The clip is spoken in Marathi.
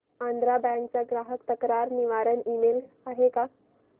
आंध्रा बँक चा ग्राहक तक्रार निवारण ईमेल आहे का